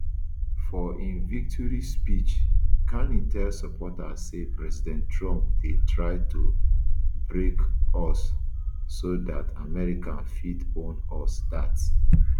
for im victory speech carney tell supporters say president trump dey try to break us so dat america fit own us dat